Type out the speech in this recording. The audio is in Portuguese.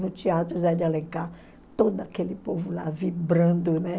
No teatro Zé de Alencar, todo aquele povo lá, vibrando, né?